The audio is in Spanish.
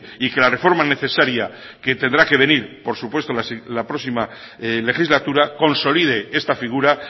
y que la reforma necesaria que tendrá que venir por supuesto la próxima legislatura consolide esta figura